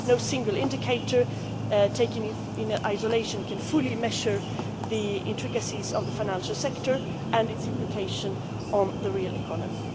no single indicator, taken in isolation, can fully measure the intricacies of the financial sector and its implications for the real economy.